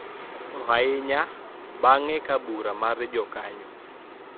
To ahinya bang`e ka bura mar jokanyo